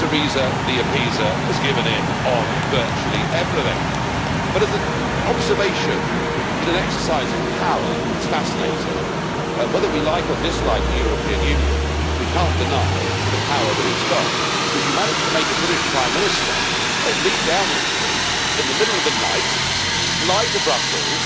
Theresa the Appeaser has given in on virtually everything. But as an observation in an exercise of power, it's fascinating. Whether we like or dislike the European Union, we cannot deny the power that it has got, because you managed to make a British Prime Minister leave Downing Street in the middle of the night and fly to Brussels